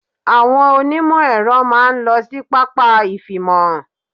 Àwọn onímọ̀-Ẹ̀rọ máa ń lọ sí pápá ifimohan.